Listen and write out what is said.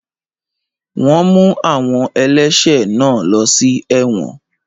Wọ́n mú àwọn ẹlẹ́ṣẹ̀ náà lọ sí ẹ̀wọ̀n